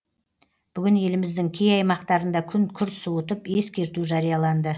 бүгін еліміздің кей аймақтарында күн күрт суытып ескерту жарияланды